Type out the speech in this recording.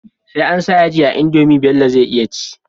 Sai ansa yaji a indomie Bello zai iya ci